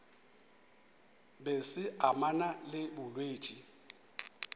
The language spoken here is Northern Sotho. be se amana le bolwetši